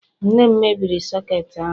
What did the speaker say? nne m mebiri soketi ahu